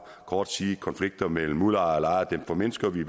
kort sige at konflikter mellem udlejere og lejere formindskes ved